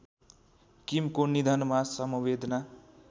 किमको निधनमा समवेदना